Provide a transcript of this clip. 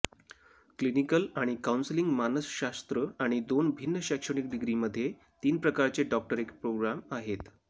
clinical आणि counselling मानसशास्त्र आणि दोन भिन्न शैक्षणिक डिग्री मध्ये तीन प्रकारचे डॉक्टरेट प्रोग्राम आहेत